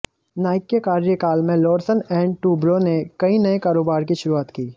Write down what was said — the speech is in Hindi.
नाइक के कार्यकाल में लार्सन ऐंड टुब्रो ने कई नए कारोबार की शुरूआत की